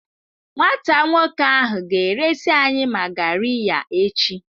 Nwata nwoke ahụ ga-eresị anyị magariya echi.